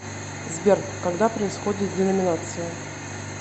сбер когда происходит деноминация